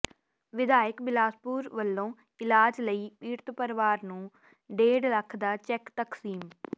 ਵਿਧਾਇਕ ਬਿਲਾਸਪੁਰ ਵੱਲੋਂ ਇਲਾਜ ਲਈ ਪੀੜਤ ਪਰਿਵਾਰ ਨੂੰ ਡੇਢ ਲੱਖ ਦਾ ਚੈੱਕ ਤਕਸੀਮ